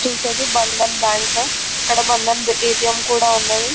చూసేది బంధన్ బ్యాంక్ ఇక్కడ బంధన్ ఏ.టీ.ఎం కూడా ఉన్నది .